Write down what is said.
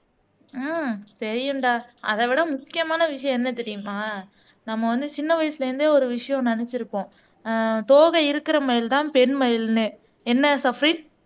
ஆஹ் தெரியும்டா அதைவிட முக்கியமான விஷயம் என்ன தெரியுமா நம்ம வந்து சின்ன வயசுல இருந்தே ஒரு விஷயம் நினைச்சிருப்போம் ஆஹ் தோகை இருக்கிற மாதிரிதான் பெண் மயில்ன்னு என்ன சஃப்ரின்